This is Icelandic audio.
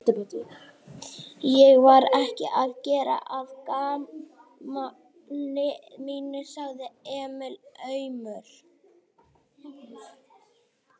Ég var ekki að gera að gamni mínu, sagði Emil aumur.